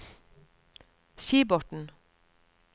Skibotn